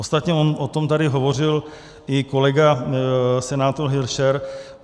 Ostatně on o tom tady hovořil i kolega senátor Hilšer.